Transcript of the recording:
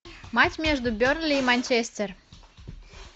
матч между бернли и манчестер